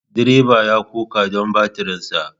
Direban ya koka don batirinsa.